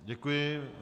Děkuji.